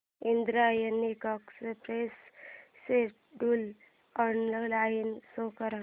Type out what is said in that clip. Indrayani Express schedule online show कर